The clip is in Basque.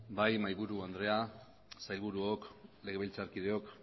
bai mahaiburu andrea sailburuok legebiltzarkideok